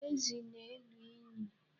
Ezi na-elu inyi.